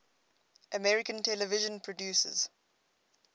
american television producers